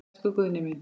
Elsku Guðni minn.